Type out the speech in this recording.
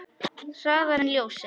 Hraðar en ljósið.